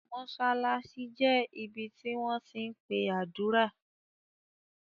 Mosalasi jẹ̀ ibí tí wọn ti npe adúra.